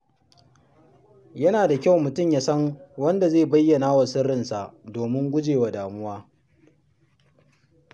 Yana da kyau mutum ya san wanda zai bayyana wa sirrinsa domin gujewa damuwa.